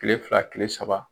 Tile fila tile saba